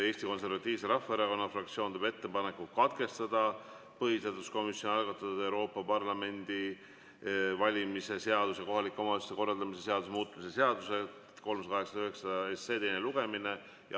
Eesti Konservatiivse Rahvaerakonna fraktsioon teeb ettepaneku katkestada põhiseaduskomisjoni algatatud Euroopa Parlamendi valimise seaduse ja kohaliku omavalitsuse korraldamise seaduse muutmise seaduse 389 teine lugemine.